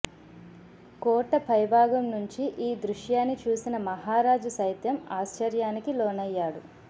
కోట పైభాగం నుంచి ఈ దృశ్యాన్ని చూసిన మహారాజు సైతం ఆశ్చర్యానికి లోనయ్యాడు